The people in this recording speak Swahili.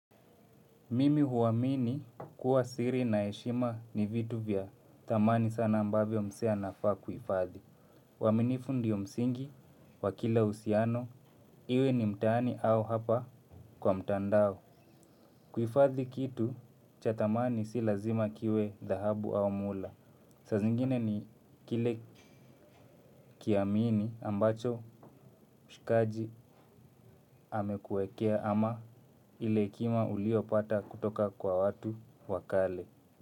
Mimi huamini kuwa siri na heshima ni vitu vya thamani sana ambavyo mzee anafaa kuhifadhi. Uaminifu ndiyo msingi wa kila uhusiano iwe ni mtani au hapa kwa mtandao. Kuhifadhi kitu cha thamani si lazima kiwe dhahabu au muda. Saa zingine ni kile kiamini ambacho mshikaji amekuwekea ama ile hekima uliopata kutoka kwa watu wa kale.